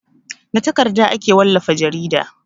Da takarda ake wallafa jarida.